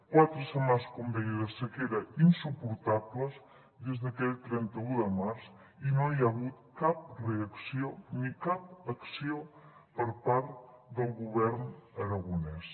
quatre setmanes com deia de sequera insuportables des d’aquell trenta un de març i no hi ha hagut cap reacció ni cap acció per part del govern aragonès